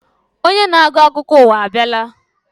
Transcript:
Onye na-agụ akụkọ ụwa abịala.